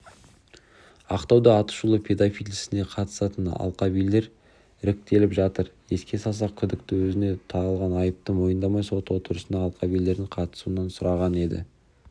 ақтауда атышулы педофил ісіне қатысатын алқабилер іріктеліп жатыр еске салсақ күдікті өзіне тағылған айыпты мойындамай сот отырысына алқабилердің қатысуын сұраған еді